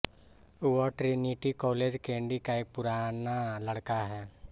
वह Trinity College Kandy का एक पुराना लड़का है